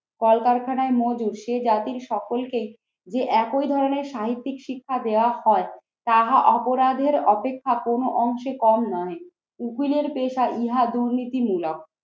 কলকারখানায় মজদুর, সেই জাতির সকলকেই যে একই ধরনের সাহিত্যিক শিক্ষা দেওয়া হয় তাহা অপরাধের অপেক্ষা কোনো অংশে কম নয়। উকিলের পেশা ইহা দুর্নীতিমুলোক।